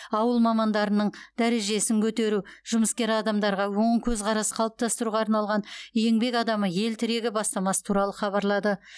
ауыл мамандарының дәрежесін көтеру жұмыскер адамдарға оң көзқарас қалыптастыруға арналған еңбек адамы ел тірегі бастамасы туралы хабарлады